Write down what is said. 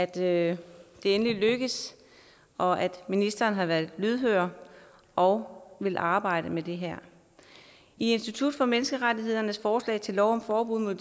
det endelig lykkes og at ministeren har været lydhør og vil arbejde med det her i institut for menneskerettigheders forslag til lov om forbud mod